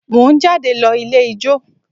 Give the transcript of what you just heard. Mo ń jáde lọ ilé ijó